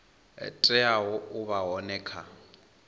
teaho u vha hone kha